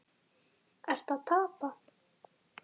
Jóhanna Margrét: Ertu að tapa?